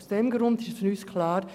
Aus diesem Grund ist für uns klar: